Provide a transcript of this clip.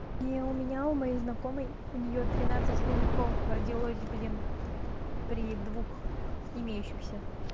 не у меня у моей знакомой у неё тринадцать хомяков родилось блин при двух имеющихся